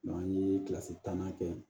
an ye kilasi tannan kɛ